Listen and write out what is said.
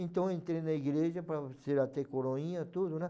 Então eu entrei na igreja para ser até coroinha, tudo, né?